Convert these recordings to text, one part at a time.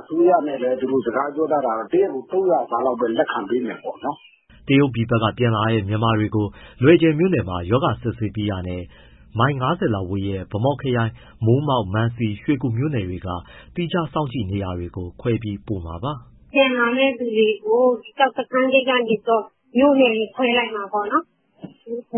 အစိုးရနဲ့ စကားပြောထားတာတော့ တရက်ကို လူ ၃၀၀ စာလောက်ပဲ လက်ခံပေးမယ်ပေါ့။" တရုတ်ပြည်ဘက်က ပြန်လာတဲ့ မြန်မာတွေကို လွယ်ဂျယ်မြို့နယ်မှာ ရောဂါစစ်ဆေးပြီးတာနဲ့ မိုင် ၅၀ လောက်ဝေးတဲ့ ဗန်းမော်ခရိုင် မိုးမောက်၊ မန်စီ၊ ရွှေကူ မြို့နယ်တွေက သီးခြား စောင့်ကြည့် နေရာတွေကို ခွဲပို့ပေးမှာပါ။ “ပြန်လာမယ့်သူတွေကို ကျောက်စခန်းဂိတ်ကနေ မြို့နယ်တွေ ခွဲလိုက်မှာပေါ့နော်၊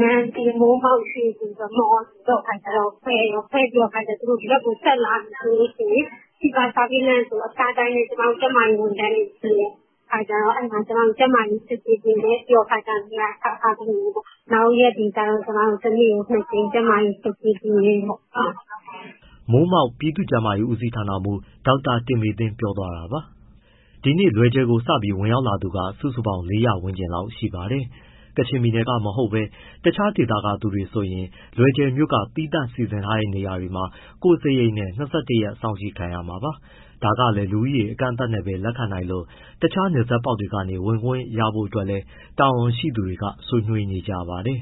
မံစီ၊ မိုးမောက်၊ ရွှေကူ ခွဲပြီးတော့ ဒီဘက်ဆက်လာမယ်ဆိုရင် fever surveillance ဆိုပြီး အဖျားတိုင်းတဲ့ ကျမတို့ ကျန်းမာရေးဝန်ထမ်းတွေ ရှိတယ်။ အဲဒီမှာ ကျန်းမာရေးစစ်ဆေးပေးမယ်။ ပြီးရင်နေရာချထားပေးမယ်ပေါ့။ နောက်ရက်တွေကျတော့ တနေ့ကို ၂ ကြိမ် ကျန်းမာရေး စစ်ဆေးပေးမယ်ပေါ့။” မိုးမောက် ပြည်သူ့ကျန်းမာရေးဦးစီးဌာနမှူး ဒေါက်တာတင်မေသင်း ပြောပြသွားတာပါ။ ဒီနေ့လွယ်ဂျယ်ကို စပြီးဝင်လာသူ စုစုပေါင်း ၄၀၀ ဝန်းကျင်ရှိပါတယ်။ ကချင်ပြည်နယ်ကမဟုတ်ဘဲ တခြားဒေသက သူတွေဆိုရင် လွယ်ဂျယ်မြို့က သီးသန့်စီစဉ်ထားတဲ့နေရာမှာ ကိုယ့်စရိတ်နဲ့ ၂၁ ရက် စောင့်ကြည့်ခံရမှာပါ။ ဒါကလည်း လူဦးရေ အကန့်အသတ်နဲ့ပဲ လက်ခံနိုင်လို့ တခြားနယ်စပ်ပေါက်တွေကနေ ဝင်ခွင့်ရဖို့အတွက်လည်း တာဝန်ရှိသူတွေ ဆွေးနွေးနေကြပါတယ်